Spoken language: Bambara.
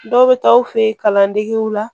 Dɔw bɛ taa aw fɛ yen kalandegew la